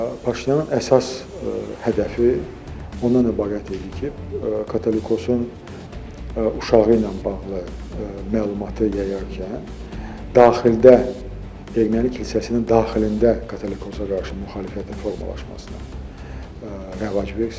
Paşinyanın əsas hədəfi ondan ibarət idi ki, katolikosun uşağı ilə bağlı məlumatı yayarkən daxildə Erməni kilsəsinin daxilində katolikosə qarşı müxalifətin formalaşmasına rəvac versin.